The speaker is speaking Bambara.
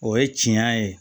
O ye tiɲɛ ye